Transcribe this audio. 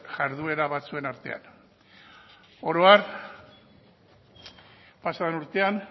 jarduera batzuen artean oro har pasaden urtean